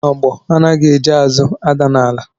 Onogbo anaghị eji azụ ada n'ala